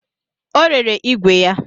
Ọ rere ìgwè ya